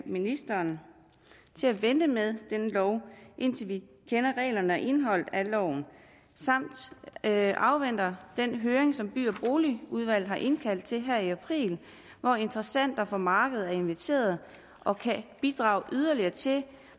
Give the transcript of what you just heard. ministeren til at vente med denne lov indtil vi kender reglerne og indholdet af loven samt at afvente den høring som by og boligudvalget har indkaldt til her i april hvor interessenter fra markedet er inviteret og kan bidrage yderligere til